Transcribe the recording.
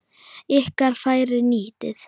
Ykkar færi nýtið.